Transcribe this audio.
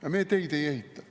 Aga me teid ei ehita.